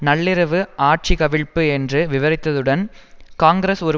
நள்ளிரவு ஆட்சிகவிழ்ப்பு என்று விவரித்ததுடன் காங்கிரஸ் ஒரு